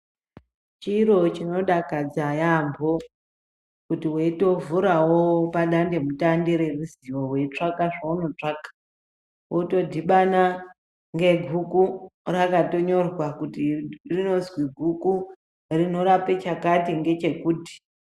Chiro chinodakadza yaambo kuti weitovhurawo padandemutande reruzivo weitsvaka zveunotsvaka wotodhibana ngeguku rakatonyorwa kuti rinozwi guku rinorape chakati ngechekuti.